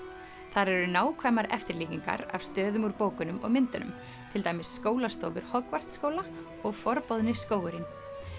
þar eru nákvæmar eftirlíkingar af stöðum úr bókunum og myndunum til dæmis skólastofur skóla og forboðni skógurinn